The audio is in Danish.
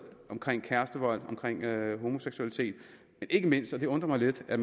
omkring kærestevold omkring homoseksualitet men ikke mindst og det undrer mig lidt at